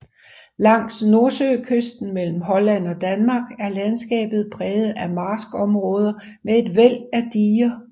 Langs nordsøkysten mellem Holland og Danmark er landskabet præget af marskområder med et væld af diger